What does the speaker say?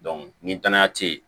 ni danaya tɛ yen